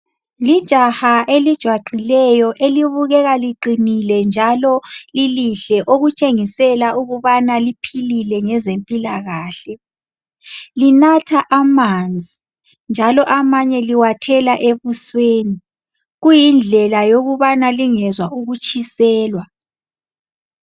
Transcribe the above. Lijaha elijwaqileyo elibukeka liqinile njalo lilihle okutshengisela ukubana liphilile ngezempilakahle. Linatha amanzi njalo amanye liwathela ebusweni, kuyindlela yokubana lingezwa ukutshiselwa.